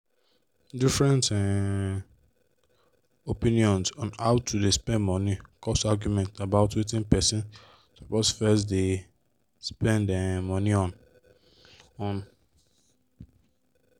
different um opinions on how to dey spend money cause argument about wetin person suppose first deg spend um money on. on.